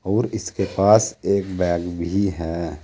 और इसके पास एक बैग भी है।